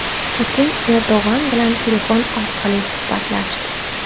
Putin Erdo‘g‘on bilan telefon orqali suhbatlashdi.